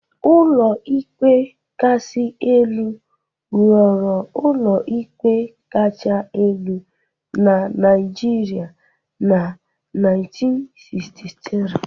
Ụlọikpe Kasị Elu ghọrọ ụlọikpe kacha elu na Nigeria na 1963